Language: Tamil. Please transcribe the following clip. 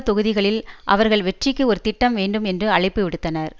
தொகுதிகளில் அவர்கள் வெற்றிக்கு ஒரு திட்டம் வேண்டும் என்று அழைப்பு விடுத்தனர்